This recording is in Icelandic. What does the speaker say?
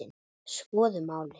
Skoðum málið.